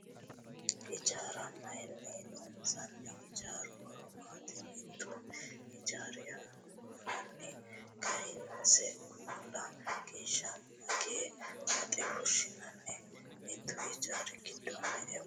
Hijaara mayiinni loonsanni? Hijaaru horo maati? Mittu hijaari hanafi kayiinse gumulla geeshsha magee woxe fushshiishano? Mittu hijaari giddo me'e waalcho afiranno?